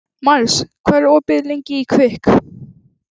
Mars, hvað er opið lengi í Kvikk?